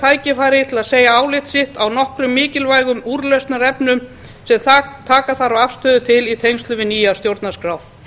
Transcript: tækifæri til að segja álit sitt á nokkrum mikilvægum úrlausnarefnum sem taka þarf afstöðu til í tengslum við nýja stjórnarskrá